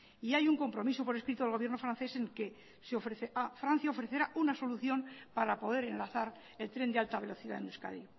y hay un compromiso por escrito del gobierno francés en el que francia ofrecerá una solución para poder enlazar el tren de alta velocidad en euskadi